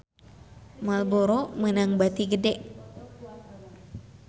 Marlboro meunang bati gede